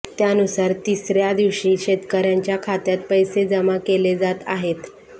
त्यानुसार तिऱ्या दिवशी शेतकऱ्यांच्या खात्यात पैसे जमा केले जात आहेत